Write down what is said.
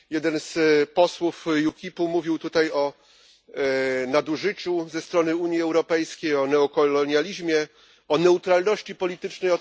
Jeden z posłów UKIP mówił tutaj o nadużyciu ze strony Unii Europejskiej, o neokolonializmie, o neutralności politycznej.